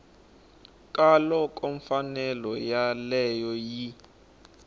ka loko mfanelo yoleyo yi